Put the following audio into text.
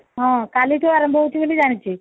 ହଁ କାଲିଠୁ ଆରମ୍ଭ ବୋଲି ଜାଣିଛି